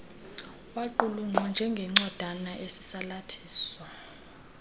yaqulunqwa njengencwadana esisalathiso